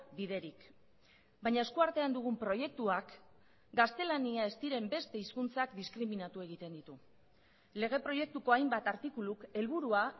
biderik baina esku artean dugun proiektuak gaztelania ez diren beste hizkuntzak diskriminatu egiten ditu lege proiektuko hainbat artikuluk helburua